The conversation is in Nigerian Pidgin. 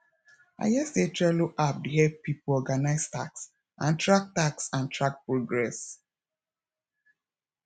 i hear sey trello app dey help pipo organise tasks and track tasks and track progress